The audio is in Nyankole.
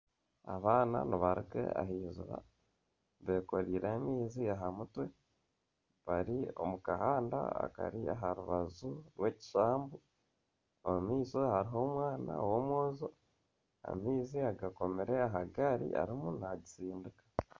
Abaana nibaruga ahiziba beekoreire amaizi aha mutwe bari omu kahanda akari aha rubaju rw'ekishambu omu maisho hariho omwana ow'omwojo amaizi agakomire aha gari arimu nagitsindika .